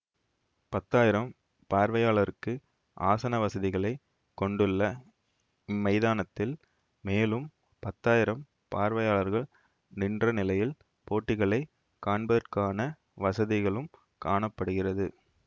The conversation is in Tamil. பத்தாயிரம் பார்வையாளருக்கு ஆசன வசதிகளை கொண்டுள்ள இம்மைதானத்தில் மேலும் பத்தாயிரம் பார்வையாளர் நின்ற நிலையில் போட்டிகளைக் காண்பதற்கான வசதிகளும் காண படுகிறது